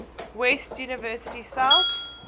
west university south